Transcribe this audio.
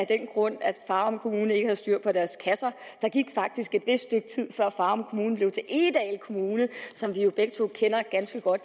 af den grund at farum kommune ikke havde styr på deres kasser der gik faktisk et vist stykke tid før farum kommune blev til egedal kommune som vi jo begge to kender ganske godt